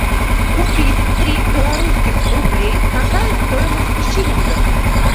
купить три белорусских рублей какая стоимость в шиллингах